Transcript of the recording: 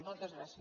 moltes gràcies